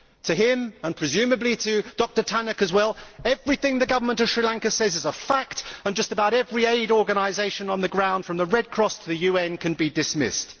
To him and presumably to Dr Tannock as well everything the Government of Sri Lanka says is a fact and just about every aid organisation on the ground, from the Red Cross to the UN, can be dismissed.